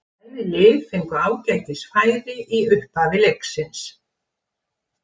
Bæði lið fengu ágætis færi í upphafi leiksins.